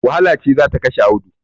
Wahala ce za ta kashe Audu.